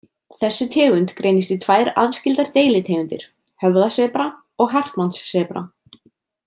Þessi tegund greinist í tvær aðskildar deilitegundir, höfðasebra og hartmannssebra.